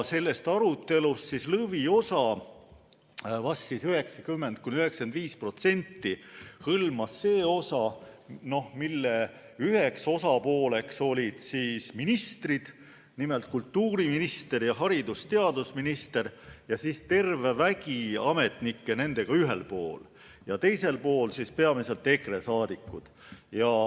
Sellest arutelust lõviosa, vist 90–95%, hõlmas see osa, mille üheks osapooleks olid ministrid, nimelt kultuuriminister ja haridus- ja teadusminister, ja terve vägi ametnikke ning teisel pool peamiselt EKRE liikmed.